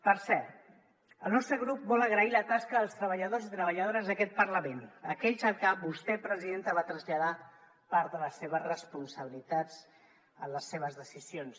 per cert el nostre grup vol agrair la tasca dels treballadors i treballadores d’aquest parlament aquells als que vostè presidenta va traslladar part de les seves responsabilitats en les seves decisions